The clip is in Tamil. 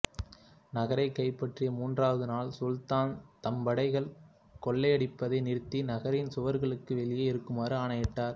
நகரை கைப்பற்றிய மூன்றாவது நாள் சுல்தான் தம்படைகள் கொள்ளையடிப்பதை நிறுத்தி நகரின் சுவர்களுக்கு வெளியே இருக்குமாறு ஆணையிட்டார்